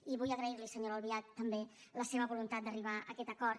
i vull agrair li senyora albiach també la seva voluntat d’arribar a aquest acord